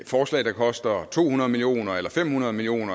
forslag der koster to hundrede million kroner eller fem hundrede million